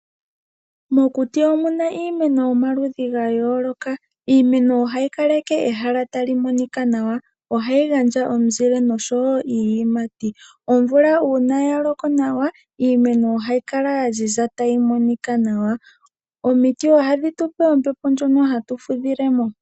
Mokuti omuna iimeno yomaludhi gayooloka, iimeno ohayi kaleke ehala tali monika nawa. Ohayi gandja omuzile nosho wo iiyimati. Omvula uuna yaloko nawa iimeno ohayi kala yaziza tayi monika nawa. Omiti ohadhi tupe ombepo ndjoka hatu fudhilemo.